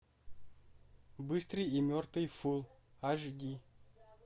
быстрый и мертвый фул аш ди